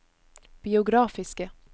biografiske